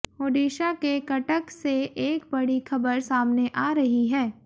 ओडिशा के कटक से एक बड़ी खबर सामने आ रही है